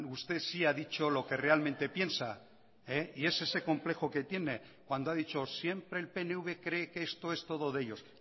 usted sí ha dicho lo que realmente piensa y es ese complejo que tiene cuando ha dicho siempre el pnv cree que esto es todo de ellos